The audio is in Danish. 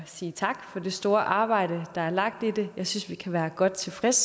sige tak for det store arbejde der er lagt i det jeg synes vi kan være godt tilfredse